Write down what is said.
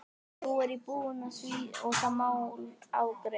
Nú er ég búinn að því og það mál afgreitt.